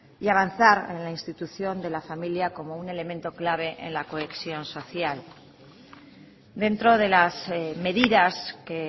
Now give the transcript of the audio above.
y avanzar en la institución de la familia como un elemento clave en la cohesión social dentro de las medidas que